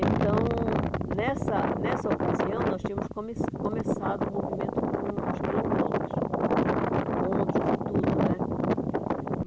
Então, nessa nessa ocasião, nós tínhamos come começado o movimento com os quilombolas, encontros e tudo, né?